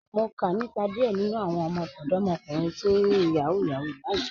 Mo kà nípa díẹ̀ nínu àwọn ọdọ̀mọ̀kùnrin tí ń yin Yahoo Yahoo lánà